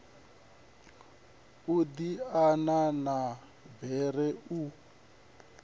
u diana ha bere u